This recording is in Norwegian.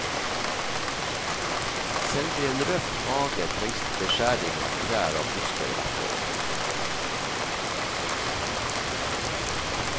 Selv i en røff hage trengs det beskjæring av trær og busker hvert år.